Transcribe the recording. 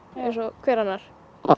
eins og hver annar